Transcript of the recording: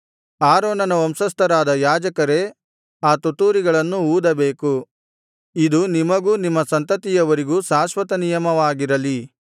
ಆರೋನನ ವಂಶಸ್ಥರಾದ ಯಾಜಕರೇ ಆ ತುತ್ತೂರಿಗಳನ್ನು ಊದಬೇಕು ಇದು ನಿಮಗೂ ನಿಮ್ಮ ಸಂತತಿಯವರಿಗೂ ಶಾಶ್ವತ ನಿಯಮವಾಗಿರಲಿ